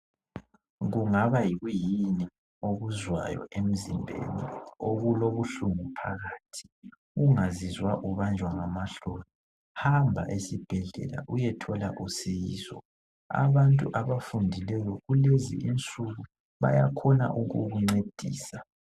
Kungaba yikuyini okuzwayo emzimbeni okulobuhlungu phakathi ungazizwa ubanjwa ngamahloni .Hamba esibhedlela uyethola usizo .Abantu abafundileyo kulezi insuku bayakhona ukukuncedisa .